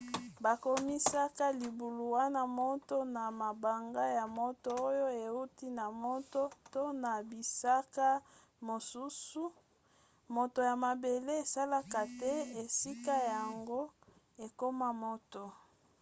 bakomisaka libulu wana moto na mabanga ya moto oyo euti na moto to na bisika mosusu moto ya mabele esalaka ete esika yango ekoma moto